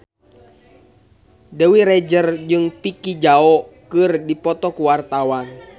Dewi Rezer jeung Vicki Zao keur dipoto ku wartawan